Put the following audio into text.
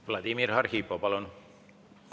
Vladimir Arhipov, palun!